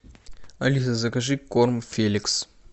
алиса закажи корм феликс